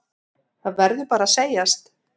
Það verður bara að segjast.